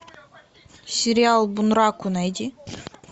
сериал бунраку найди